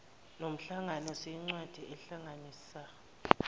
somhlangano siyincwadi ehlanganisa